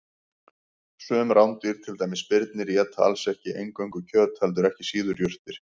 Sum rándýr, til dæmis birnir, éta alls ekki eingöngu kjöt heldur ekki síður jurtir.